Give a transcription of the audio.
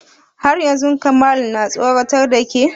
Har yanzu Kamalu na tsoratar da ke?